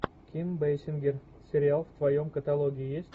ким бейсингер сериал в твоем каталоге есть